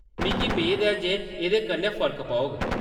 मिगी मेद ऐ जे एह्‌‌‌दे कन्नै फर्क पौग।